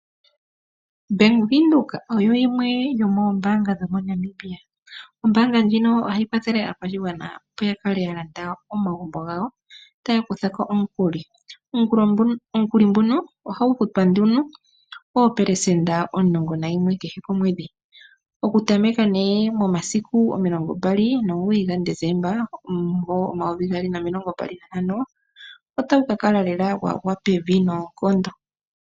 Bank Windhoek oyo yimwe yomoombanga dho moNamibia. Ombaanga ndjino ohayi kwathele aakwashigwana opo ya kale ya landa omagumbo gawo, taya kutha ko omukuli. Omukuli nguno ohagu futwa nduno oopelesenda omulongo nayimwe kehe komwedhi oku tameka nee momasiku omilongo mbali nomugoyi gaDesemba, omumvo omayovi gaali nomilongo mbali nantano, otagu ka kala lela gwagwa pevi noonkondo.